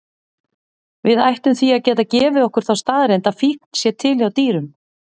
Við ættum því að geta gefið okkur þá staðreynd að fíkn sé til hjá dýrum.